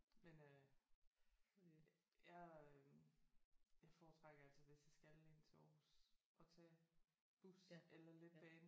Men øh jeg øh jeg foretrækker altid hvis jeg skal ind til Aarhus at tage bus eller letbane